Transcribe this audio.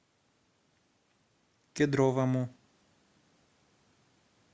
кедровому